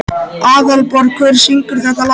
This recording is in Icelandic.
Aðalborg, hver syngur þetta lag?